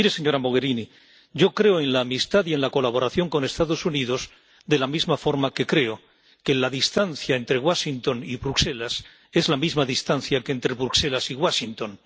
Mire, señora Mogherini, yo creo en la amistad y en la colaboración con los Estados Unidos, de la misma forma que creo que la distancia entre Washington y Bruselas es la misma distancia que entre Bruselas y Washington.